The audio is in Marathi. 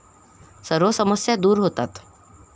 सर्व समस्या दूर होतात.